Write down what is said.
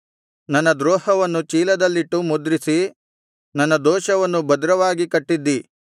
ನನ್ನ ದ್ರೋಹವನ್ನು ಚೀಲದಲ್ಲಿಟ್ಟು ಮುದ್ರಿಸಿ ನನ್ನ ದೋಷವನ್ನು ಭದ್ರವಾಗಿ ಕಟ್ಟಿದ್ದೀ